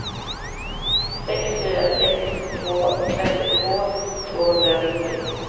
sex fyra sex två femtiotvå tvåhundranittio